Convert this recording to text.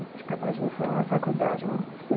Tinha acabado de me formar na faculdade, fui.